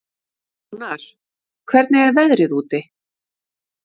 Jónar, hvernig er veðrið úti?